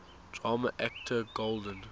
drama actor golden